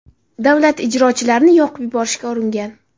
davlat ijrochilarini yoqib yuborishga uringan.